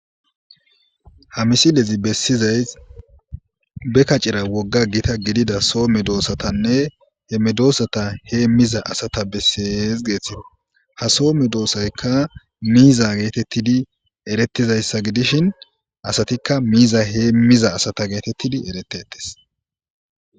Hamisi dezi bessizay be kacira wogga gita gidida soome doossatanne he medoosata hee miza asata bessees geeththi ha soome doosaykka miiza geetettidi erettizayssa gidishin asatikka miiza heemmiza asata geetettidi eretetes